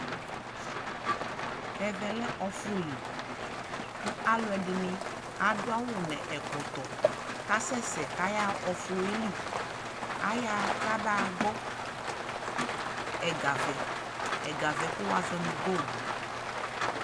ɛvɛ lɛ ɔƒʋli kʋ alʋɛdini adʋ awʋ nʋ ɛkɔtɔ kʋ asɛsɛ kʋ ayaa ɔƒʋɛli, ayaa kaba gbɔ ɛgavɛ, ɛgavɛ kʋ wazɔnʋ goldʋ